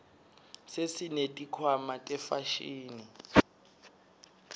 sesineti khwama tefashini